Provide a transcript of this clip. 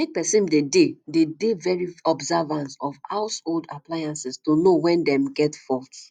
make person dey de dey de very observant of household appliances to know when dem get fault